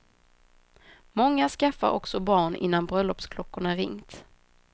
Många skaffar också barn innan bröllopsklockorna ringt.